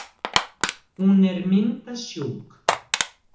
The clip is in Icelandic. Hún er myndasjúk.